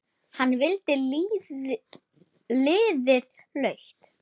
Hann valdi lítið lauf.